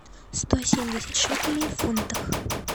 сто семьдесят шекелей в фунтах